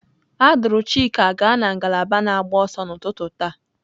A duru Chika gaa na ngalaba na-agba ọsọ n'ụtụtụ taa.